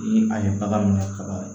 Ni a ye bagan minɛ kaban